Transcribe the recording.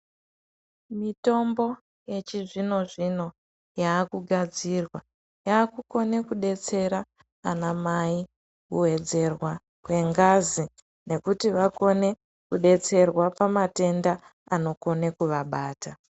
Mitombo yechizvino zvino yakugadzirwa yakukone kubetsera ana mai kuwedzerwa n kwengazi nekuti vakone kubetserwa pamatenda anokone kuvabata.